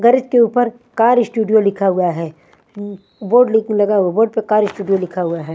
Garage के ऊपर car studio लिखा हुआ है उंग बोर्ड लिक लगा हुआ बोर्ड पे कार स्टूडियो लिखा हुआ हैं।